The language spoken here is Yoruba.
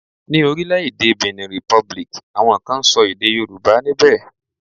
Ni orile-ede Benin Republic, awon kan n so ede Yoruba nibe.